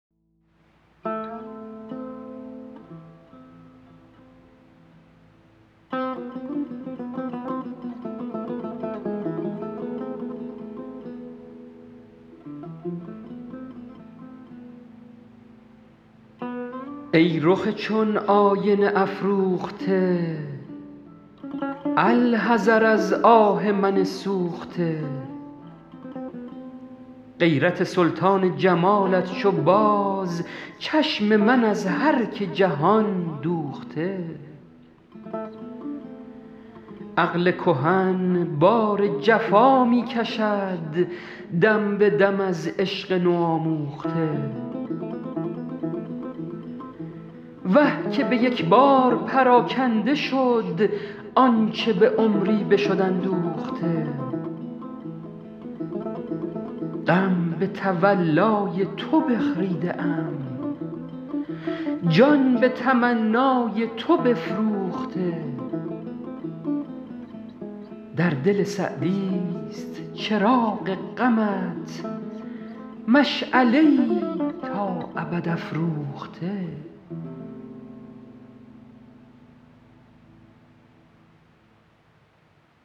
ای رخ چون آینه افروخته الحذر از آه من سوخته غیرت سلطان جمالت چو باز چشم من از هر که جهان دوخته عقل کهن بار جفا می کشد دم به دم از عشق نوآموخته وه که به یک بار پراکنده شد آنچه به عمری بشد اندوخته غم به تولای تو بخریده ام جان به تمنای تو بفروخته در دل سعدیست چراغ غمت مشعله ای تا ابد افروخته